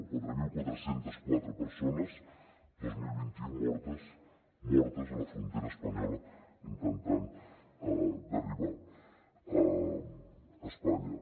quatre mil quatre cents i quatre persones dos mil vint u mortes a la frontera espanyola intentant arribar a espanya